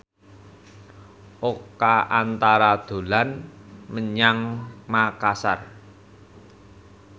Oka Antara dolan menyang Makasar